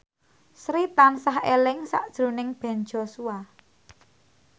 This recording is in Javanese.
Sri tansah eling sakjroning Ben Joshua